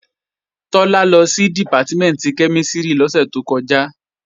Tọ́lá lọ sí Dìpátímẹ̀ntì kẹ́mísìrì lọ́sẹ̀ tó kọjá